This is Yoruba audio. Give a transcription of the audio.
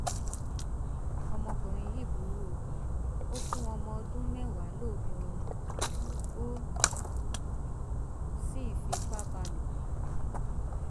ọmọkùnrin yìí burú o ò fún ọmọdọndún mẹwàá lóògùn oorun ó sì fipá bá lò pọ